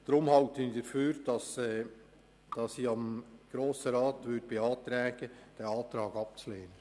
Deshalb beantrage ich dem Grossen Rat, diesen Antrag abzulehnen.